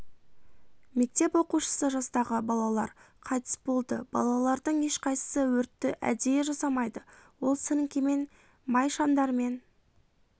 мектеп оқушысы жастағы балалар қайтыс болды балалардың ешқайсысы өртті әдейі жасамайды ол сіріңкемен май шамдармен